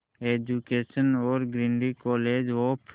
graduation और Guindy college of